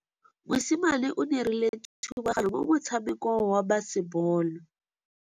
Mosimane o dirile thubaganyô mo motshamekong wa basebôlô.